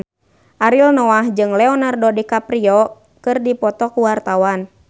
Ariel Noah jeung Leonardo DiCaprio keur dipoto ku wartawan